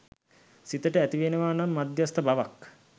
සිතට ඇතිවෙනවා නම් මධ්‍යස්ථ බවක්